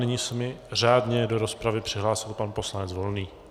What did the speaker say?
Nyní se mi řádně do rozpravy přihlásil pan poslanec Volný.